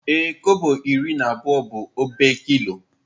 Ee, kobo iri na abụọ bụ obe kilo.